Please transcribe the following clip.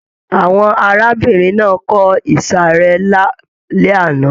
Àwọn arábìnrin náà kọ ìsàrẹ́ lálẹ́ àná.